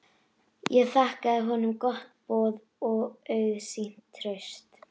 Ég þakkaði honum gott boð og auðsýnt traust.